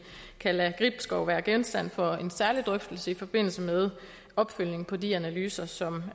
kan lade gribskov være genstand for en særlig drøftelse i forbindelse med opfølgningen på de analyser som